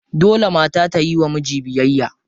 Dole mata ta yiwa miji biyayya.